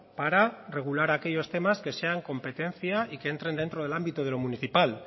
para regular aquellos temas que sean competencia y que entren dentro del ámbito de lo municipal